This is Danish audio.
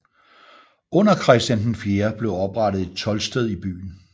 Under Christian IV blev oprettet et toldsted i byen